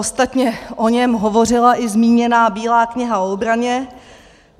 Ostatně o něm hovořila i zmíněná Bílá kniha o obraně.